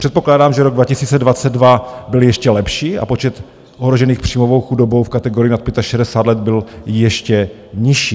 Předpokládám, že rok 2022 byl ještě lepší, a počet ohrožených příjmovou chudobou v kategorii nad 65 let byl ještě nižší.